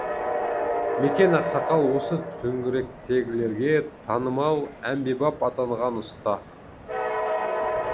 мекен ақсақал осы төңіректегілерге танымал әмбебап атанған ұста